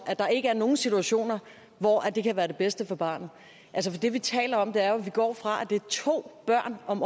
der ikke er nogen situationer hvor det kan være det bedste for barnet altså det vi taler om er jo at vi går væk fra at det er to børn om